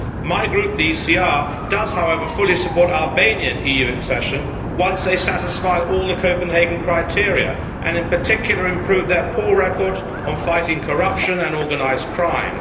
My group, the ECR, does, however, fully support Albanian EU accession once they satisfy all the Copenhagen criteria and, in particular, improve their poor record on fighting corruption and organised crime.